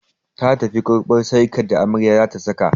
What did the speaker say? Ta tafi karɓo sarƙar da amarya zata saka